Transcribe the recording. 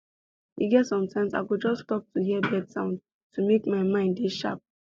e get sometime i go just stop to hear bird sound to make my mind dey sharp